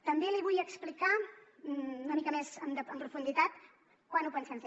també li vull explicar una mica més en profunditat quan ho pensem fer